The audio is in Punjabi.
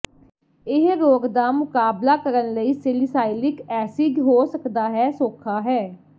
ਇਹ ਰੋਗ ਦਾ ਮੁਕਾਬਲਾ ਕਰਨ ਲਈ ਸੇਲੀਸਾਈਿਲਕ ਐਸਿਡ ਹੋ ਸਕਦਾ ਹੈ ਸੌਖਾ ਹੈ